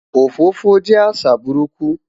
Òfófó jẹ́ àṣà burúkú